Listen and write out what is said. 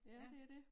Ja det er dét